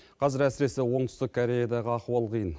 қазір әсіресе оңтүстік кореядағы ахуал қиын